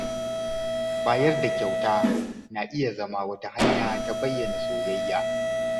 Bayar da kyauta na iya zama wata hanya ta bayyana soyayya.